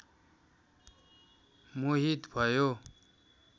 मोहित भयो